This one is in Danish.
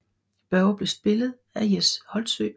Børge blev spillet af Jes Holtsø